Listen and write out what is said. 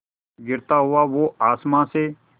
गिरता हुआ वो आसमां से